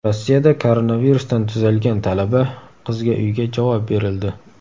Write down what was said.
Rossiyada koronavirusdan tuzalgan talaba qizga uyga javob berildi.